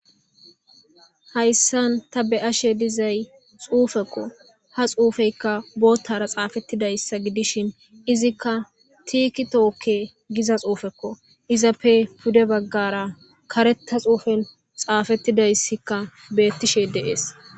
Hayssan ta be ashe dizay xuufekko ha xuufeyka boottara xaafettidayssa gidishin izikka tiikitookke giza xuufekko izappe pude baggara kareta xuufen xaafettidayssikka beettishe deees.